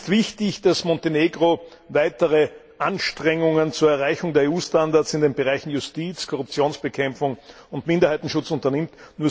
Es ist wichtig, dass Montenegro weitere Anstrengungen zur Erreichung der EU Standards in den Bereichen Justiz, Korruptionsbekämpfung und Minderheitenschutz unternimmt.